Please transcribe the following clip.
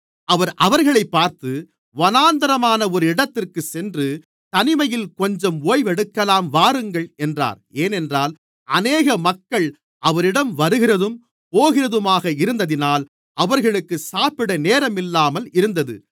அவர் அவர்களைப் பார்த்து வனாந்திரமான ஒரு இடத்திற்குச் சென்று தனிமையில் கொஞ்சம் ஓய்வெடுக்கலாம் வாருங்கள் என்றார் ஏனென்றால் அநேக மக்கள் அவரிடம் வருகிறதும் போகிறதுமாக இருந்ததினால் அவர்களுக்கு சாப்பிட நேரமில்லாமல் இருந்தது